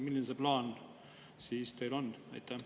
Milline see teie plaan on?